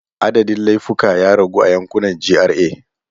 Adadin laifuka ya ragu a yankunan GRA.